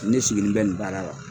Ne sigilen bɛ nin baara la.